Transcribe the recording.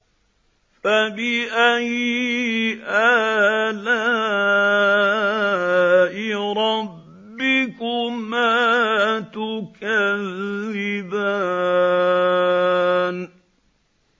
فَبِأَيِّ آلَاءِ رَبِّكُمَا تُكَذِّبَانِ